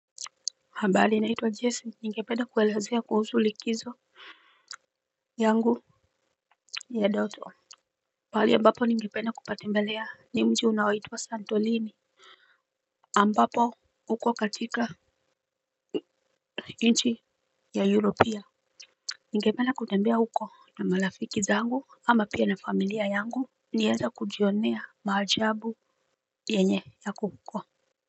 Ambali naitwa jesim ningependa kuelezea kuhusu likizo yangu ya doto pahali ambapo ningependa kupatembelea ni mji unaoitwa santolini ambapo uko katika nchi ya europia. Ningependa kutembea uko na malafiki zangu ama pia na familia yangu. Nieze kujionea maajabu yenye yako huko.